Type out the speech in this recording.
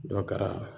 Dɔ kɛra